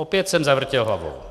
Opět jsem zavrtěl hlavou.